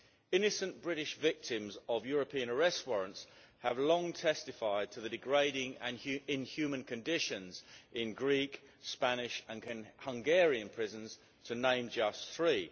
Innocent British victims of European arrest warrants have long testified to the degrading and inhuman conditions in Greek, Spanish and Hungarian prisons, to name just three.